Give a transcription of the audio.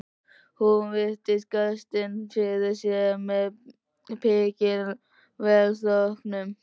Hún virti gestinn fyrir sér með mikilli velþóknun.